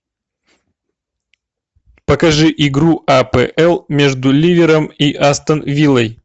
покажи игру апл между ливером и астон виллой